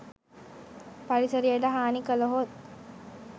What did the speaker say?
පරිසරයට හානි කළහොත්